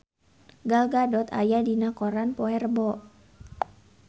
Gal Gadot aya dina koran poe Rebo